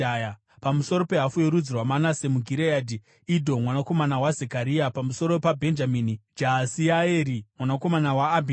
pamusoro pehafu yorudzi rwaManase muGireadhi: Idho mwanakomana waZekaria; pamusoro paBhenjamini: Jaasieri mwanakomana waAbhineri;